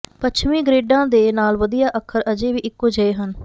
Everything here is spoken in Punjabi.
ਪੱਛਮੀ ਗਰਿੱਡਾਂ ਦੇ ਨਾਲ ਵਧੀਆ ਅੱਖਰ ਅਜੇ ਵੀ ਇਕੋ ਜਿਹੇ ਹਨ